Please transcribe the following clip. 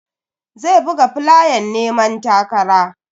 Zai buga flayan neman takara.